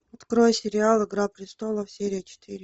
открой сериал игра престолов серия четыре